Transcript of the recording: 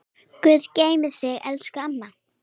Guð geymi þig, elsku amma.